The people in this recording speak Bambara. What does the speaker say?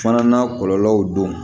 Fana n'a kɔlɔlɔw don